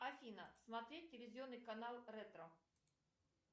афина смотреть телевизионный канал ретро